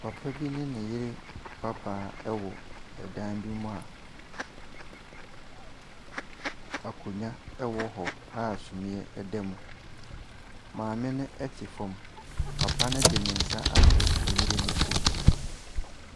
Papa bi ne ne yere aba wɔ dan bi mu a nkonnwa wɔ hɔ a sumiiɛ wɔ mu. Maame no te fam. Papa no de ne nsa ato ne yere no kɔn mu.